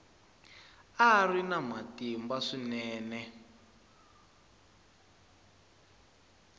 a ri na matimba swinene